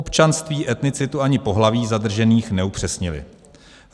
Občanství, etnicitu ani pohlaví zadržených neupřesnili.